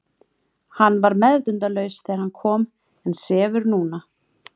Hann var meðvitundarlaus þegar hann kom en sefur núna.